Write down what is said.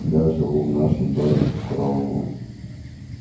я живу в нашем доме под караулом